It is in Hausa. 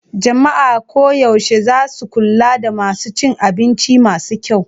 Jama'a koyaushe za su kula da masu cin abinci masu kyau.